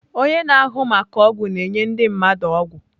Onye na-ahụ maka ọgwụ na-enye ndị mmadụ ọgwụ.